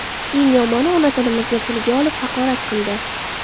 Eng yomoni, onamizni tilga olib, haqorat qildi.